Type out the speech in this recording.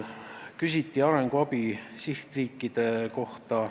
Küsiti arenguabi sihtriikide kohta.